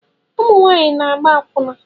Ụmụ nwanyị na-agba akwuna